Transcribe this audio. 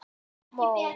Fuglar við fætur mína.